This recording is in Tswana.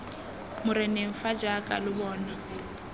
moreneng fa jaaka lo bona